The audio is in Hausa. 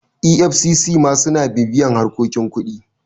efcc ma suna bibiyar harkokin kuɗi